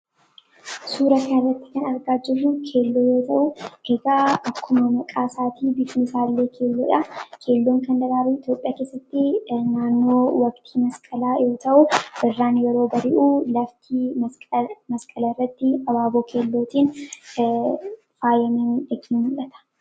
suura karratti kan argaa jirru keello yoo ta'u eegaa akkuma maqaa isaatii bifti isaallee keelloodhaa keelloon kan daraaruu itoophiya keessatti naannoo waqtii masqalaa yoo ta'u irraan yeroo bari'uu laftii masqala irratti abaaboo keellootiin faayamanii ikni mudhata.